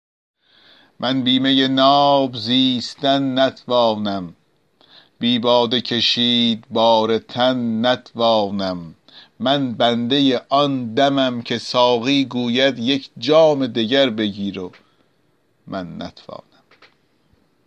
من بی می ناب زیستن نتوانم بی باده کشید بار تن نتوانم من بنده آن دمم که ساقی گوید یک جام دگر بگیر و من نتوانم